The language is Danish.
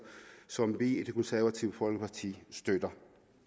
som vi i det konservative folkeparti støtter